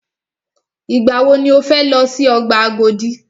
Ìgbà wọ ni o fẹ lọ si ọgbà Agodi?